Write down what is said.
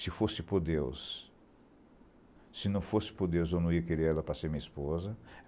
Se fosse por Deus, se não fosse por Deus, eu não ia querer ela para ser minha esposa.